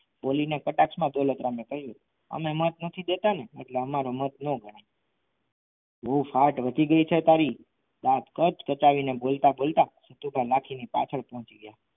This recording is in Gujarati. બોલીને કટાક્ષમાં દોલતરામ એ કહ્યું અમે મત નથી દેતા ને એટલે અમારો મત ના ગણાય બહુ ફાટ વધી ગઈ છે તારી ત્યાં કચ્છ કચાવીને બોલતા બોલતા ત્યાં તો લખી ના પાછળ પહોંચી ગયા.